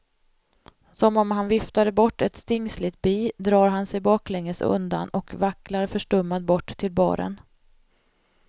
Som om han viftade bort ett stingsligt bi drar han sig baklänges undan och vacklar förstummad bort till baren.